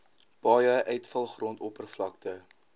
paaie uitvalgrond oppervlakte